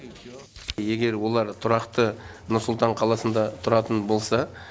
егер олар тұрақты нұр сұлтан қаласында тұратын болса